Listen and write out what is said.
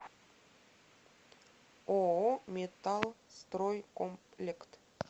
ооо металлстройкомплект